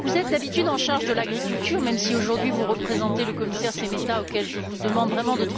vous êtes d'habitude en charge de l'agriculture même si, aujourd'hui, vous représentez le commissaire Šemeta, auquel je vous demande vraiment de transmettre, comme l'a dit M.